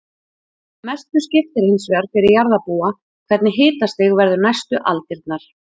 Mestu skiptir hins vegar fyrir jarðarbúa hvernig hitastig verður næstu aldirnar.